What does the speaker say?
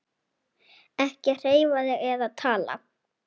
Ekki hreyfa þig eða tala.